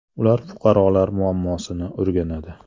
Ular fuqarolar muammosini o‘rganadi.